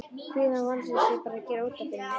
Kvíðinn og vonleysið eru bara að gera útaf við mig.